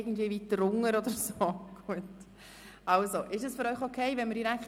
– Nein, sie ist gegenwärtig wirklich abwesend.